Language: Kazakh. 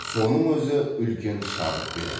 соның өзі үлкен шабыт береді